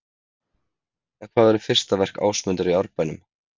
En hvað verður fyrsta verk Ásmundar í Árbænum?